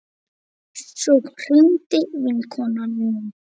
Svo hringdi vinkona mín.